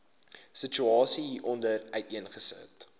situasie hieronder uiteengesit